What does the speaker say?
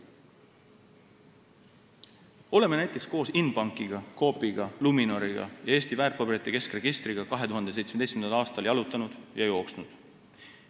Oleme näiteks koos Inbanki, Coopi, Luminori ja Eesti väärtpaberite keskregistriga 2017. aastal jalutanud ja jooksnud.